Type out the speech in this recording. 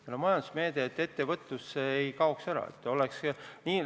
Meil on majandusmeede, et ettevõtlus ei kaoks.